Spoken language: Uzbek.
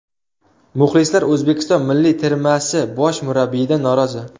Muxlislar O‘zbekiston milliy termasi bosh murabbiyidan norozi.